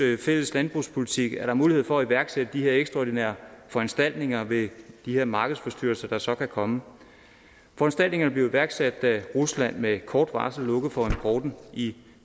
fælles landbrugspolitik er der mulighed for at iværksætte de her ekstraordinære foranstaltninger ved de her markedsforstyrrelser der så kan komme foranstaltningerne blev iværksat da rusland med kort varsel lukkede for importen i